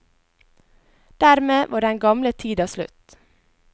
Dermed var den gamle tida slutt.